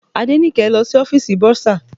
Adenike lọ sí ọ́fìsì bursar.